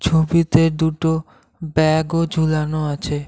ছবিতে দুটো ব্যাগও ঝুলানো আছে।